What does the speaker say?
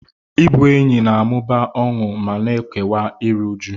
Ịbụ enyi na-amụba ọṅụ ma na-ekewa iru újú.